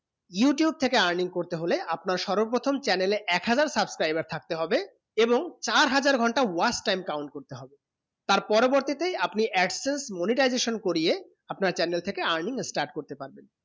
youtube থেকে earning করতে হলে আপনার সর্বপ্রথম channel এ এক হাজার subscriber থাকতে হবে এবং চার হাজার ঘন্টা watch time count করতে হবে তার পরবর্তী তে আপনি absence monetization করিয়ে আপনার channel থেকে earning start করতে পারবেন